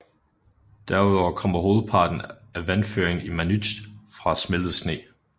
Derud over kommer hovedparten af vandføringen i Manytj fra smeltet sne